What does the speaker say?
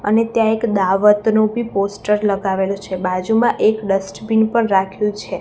અને ત્યાં એક દાવતનું બી પોસ્ટર લગાવેલું છે બાજુમાં એક ડસ્ટબિન પણ રાખ્યુ છે.